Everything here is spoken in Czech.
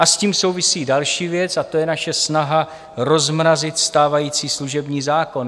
A s tím souvisí další věc, a to je naše snaha rozmrazit stávající služební zákon.